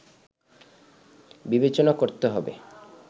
বিবেচনা করতে হবে